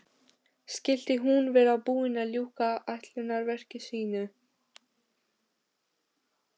Skyldi hún vera búin að ljúka ætlunarverki sínu?